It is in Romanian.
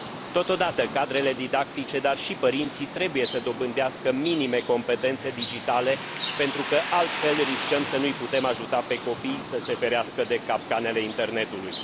Totodată, cadrele didactice, dar și părinții, trebuie să dobândească minime competențe digitale, pentru că, altfel, riscăm să nu îi putem ajuta pe copii să se ferească de capcanele internetului.